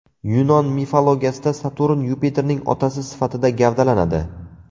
Yunon mifologiyasida Saturn Yupiterning otasi sifatida gavdalanadi.